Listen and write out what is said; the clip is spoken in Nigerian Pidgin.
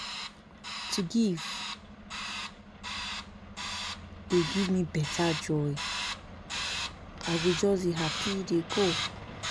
To give dey give me beta joy, I go just dey happy dey go